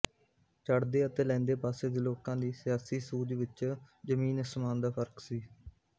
ਚੜ੍ਹਦੇ ਅਤੇ ਲਹਿੰਦੇ ਪਾਸੇ ਦੇ ਲੋਕਾਂ ਦੀ ਸਿਆਸੀ ਸੂਝ ਵਿੱਚ ਜ਼ਮੀਨ ਸ਼ਮਾਨ ਦਾ ਫਰਕ ਸੀ